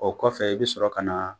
O kɔfɛ i bi sɔrɔ ka na